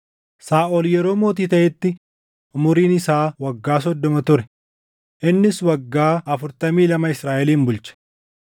Saaʼol yeroo mootii taʼetti umuriin isaa waggaa soddoma ture; innis waggaa afurtamii lama Israaʼelin bulche.